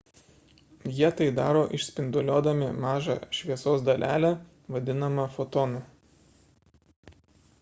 jie tai daro išspinduliuodami mažą šviesos dalelę vadinamą fotonu